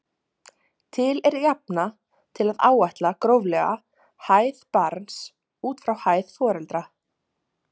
Til er jafna til að áætla gróflega hæð barns út frá hæð foreldra.